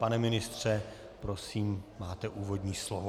Pane ministře, prosím, máte úvodní slovo.